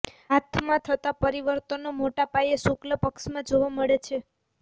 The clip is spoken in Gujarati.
હાથમાં થતા પરિવર્તન મોટા પાયે શુક્લપક્ષમાં જોવા મળે છે